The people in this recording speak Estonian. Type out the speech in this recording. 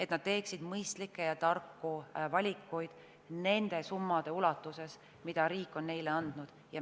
Nad peavad tegema mõistlikke ja tarku valikuid nende summade ulatuses, mida riik on neile andnud.